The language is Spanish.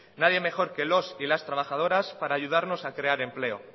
nadie mejor que los y las trabajadoras para ayudarnos a crear empleo